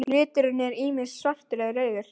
Liturinn er ýmist svartur eða rauður.